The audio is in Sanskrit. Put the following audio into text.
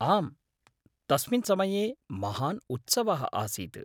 आम्, तस्मिन् समये महान् उत्सवः आसीत्।